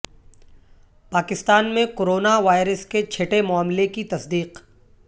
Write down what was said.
پاکستان میں corona virus کے چھٹے معاملے کی تصدیق